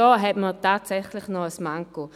Und da hat man tatsächlich noch ein Manko.